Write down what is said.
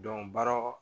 baara